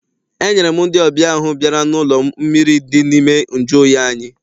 Enyere m ndị ọbịa ahụ bịara n'ụlọ anyị mmiri dị n'ime nju oyi anyị.